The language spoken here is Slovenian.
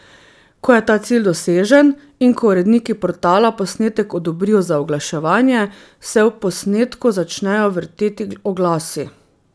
Ko je ta cilj dosežen, in ko uredniki portala posnetek odobrijo za oglaševanje, se ob posnetku začnejo vrteti oglasi.